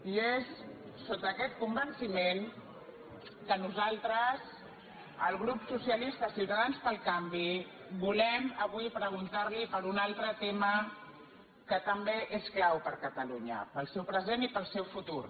i és sota aquest convenciment que nosaltres el grup socialistes ciutadans pel canvi volem avui preguntar li per un altre tema que també és clau per a catalunya per al seu present i per al seu futur